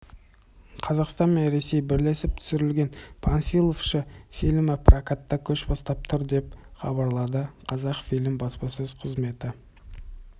қазақстан мен ресей бірлесіп түсірген панфиловшы фильмі прокатта көш бастап тұр деп хабарлады қазақфильм баспасөз қызметі